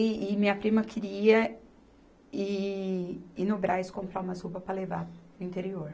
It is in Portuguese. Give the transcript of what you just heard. E, e minha prima queria ir, ir no Brás comprar umas roupas para levar para o interior.